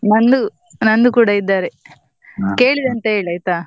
ನಂದು ನಂದು ಕೂಡ ಇದ್ದಾರೆ, ಅಂತ ಹೇಳೈತಾ.